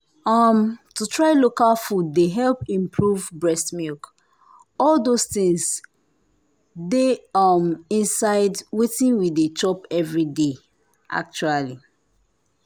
um to try local food dey help improve breast milk. all those things dey um inside wetin we dey chop every day… actually.